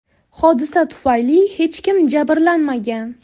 Hodisa tufayli hech kim jabrlanmagan.